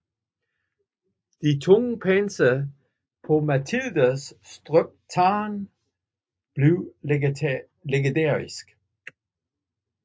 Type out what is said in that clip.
Det tunge panser på Matildas støbte tårn blev legendarisk